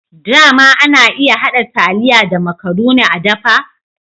Dama ana hada taliya da makarune a dafa?